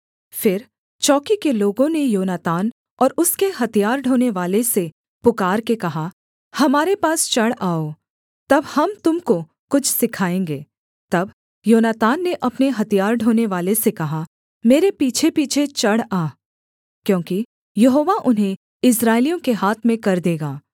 फिर चौकी के लोगों ने योनातान और उसके हथियार ढोनेवाले से पुकारके कहा हमारे पास चढ़ आओ तब हम तुम को कुछ सिखाएँगे तब योनातान ने अपने हथियार ढोनेवाले से कहा मेरे पीछेपीछे चढ़ आ क्योंकि यहोवा उन्हें इस्राएलियों के हाथ में कर देगा